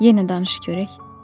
Yenə danış görək.